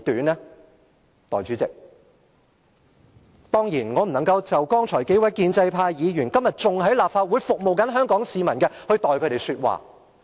代理主席，剛才提到的數位建制派議員，至今仍在立法會服務香港市民，我當然不能代替他們說話。